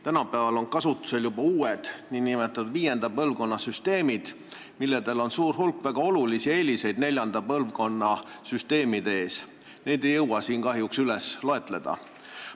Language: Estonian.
Tänapäeval on kasutusel juba uued, nn viienda põlvkonna süsteemid, millel on suur hulk väga olulisi eeliseid neljanda põlvkonna süsteemide ees – neid ei jõua siin kahjuks üles lugeda.